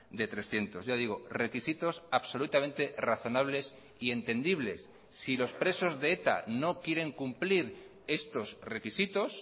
de trescientos ya digo requisitos absolutamente razonables y entendibles si los presos de eta no quieren cumplir estos requisitos